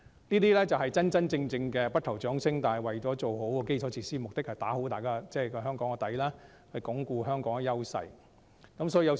這些才是真正的不求掌聲，做好基礎設施，目的是為香港打下穩建的基礎，鞏固香港的優勢。